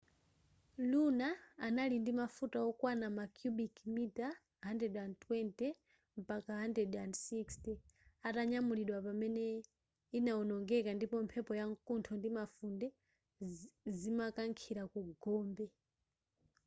luna anali ndi mafuta okwana ma cubic mita 120-160 atanyamulidwa pamene inawonongeka ndipo mphepo yamkuntho ndi mafunde zimakankhila ku gombe